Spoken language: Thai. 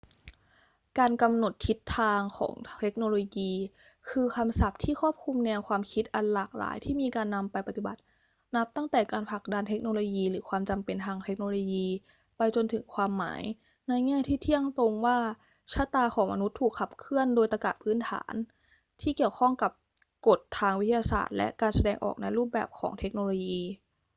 การกำหนดทิศทางของเทคโนโลยี คือคำศัพท์ที่ครอบคลุมแนวความคิดอันหลากหลายที่มีการนำไปปฏิบัติ นับตั้งแต่การผลักดันเทคโนโลยีหรือความจำเป็นทางเทคโนโลยี ไปจนถึงความหมายในแง่ที่เที่ยงตรงว่า ชะตาของมนุษย์ถูกขับเคลื่อนโดยตรรกะพื้นฐานที่เกี่ยวข้องกับกฎทางวิทยาศาสตร์และการแสดงออกในรูปแบบของเทคโนโลยี